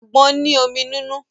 Àgbọn ní omi nínú.